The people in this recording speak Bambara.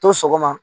To sɔgɔma